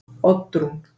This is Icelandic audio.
Oddrún